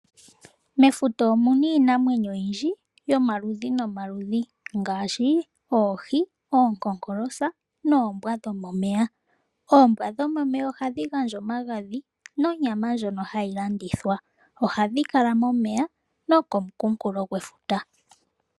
Mefuta omu na iinamwenyo oyindji yomaludhi nomaludhi ngaashi : oohi ,oonkonkolosa noombwa dho momeya. Oombwa dhomomeya ohadhi gandja omagandhi nonyama ndjono ha yi landithwa ohadhi kala momeya no komunkulo gwefuta.